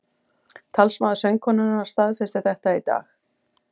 Talsmaður söngkonunnar staðfesti þetta í dag